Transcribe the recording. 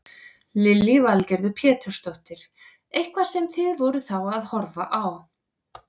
Lillý Valgerður Pétursdóttir: Eitthvað sem þið voruð þá að horfa á?